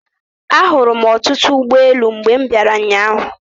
Ahụrụ m ọtụtụ ụgboelu mgbe m bịara ụnyaahụ.